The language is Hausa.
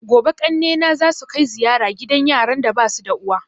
Gobe ƙanne na zasu kai ziyara gidan yaran da basu da uwa